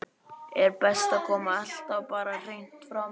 Er best að koma alltaf bara hreint fram?